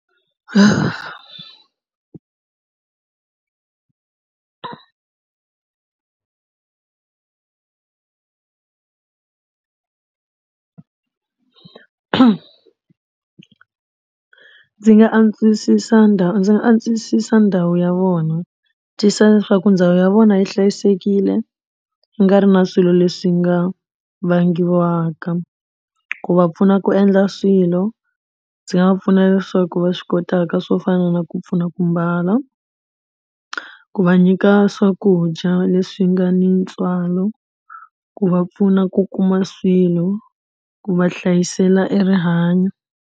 Ndzi nga antswisisa ndhawu ndzi nga antswisisa ndhawu ya vona tiyisisa leswaku ndhawu ya vona yi hlayisekile ku nga ri na swilo leswi nga vangiwaka ku va pfuna ku endla swilo. Ndzi nga va pfuna leswaku va swi kotaka swo fana na ku pfuna ku mbala ku va nyika swakudya leswi nga ni ntswalo ku va pfuna ku kuma swilo ku va hlayisela erihanyo.